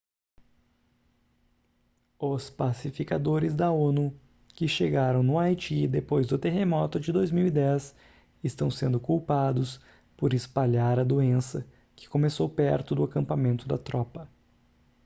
os pacificadores da onu que chegaram no haiti depois do terremoto de 2010 estão sendo culpados por espalhar a doença que começou perto do acampamento da tropa